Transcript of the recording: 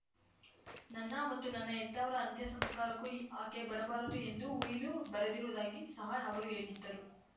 ನನ್ನ ಮತ್ತು ನನ್ನ ಹೆತ್ತವರ ಅಂತ್ಯಸಂಸ್ಕಾರಕ್ಕೂ ಆಕೆ ಬರಬಾರದು ಎಂದು ಉಯಿಲು ಬರೆದಿರುವುದಾಗಿ ಸಹ ಅವರು ಹೇಳಿದ್ದರು